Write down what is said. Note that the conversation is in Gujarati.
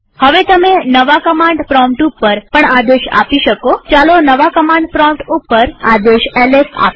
હવે તમે નવા કમાંડ પ્રોમ્પ્ટ ઉપર પણ આદેશ આપી શકોચાલો નવા કમાંડ પ્રોમ્પ્ટ ઉપર આદેશ એલએસ આપીએ